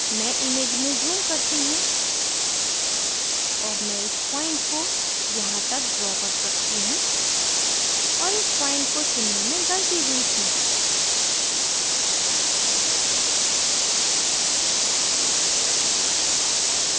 मैं image में zoom करती हूँ और मैं इस point को यहाँ तक draw कर सकती हूँ और इस point को चुनने में गलती हुई थी